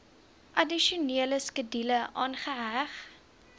addisionele skedule aangeheg